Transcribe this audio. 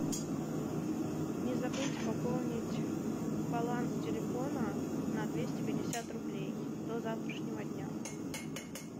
не забыть пополнить баланс телефона на двести пятьдесят рублей до завтрашнего дня